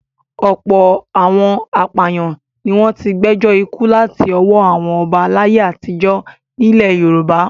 Ọ̀pọ̀ àwọn apàyàn ni wọ́n ti gbẹjọ́ ikú láti ọwọ́ àwọn ọba láyé àtijọ́ nílẹ̀ Yorùbá.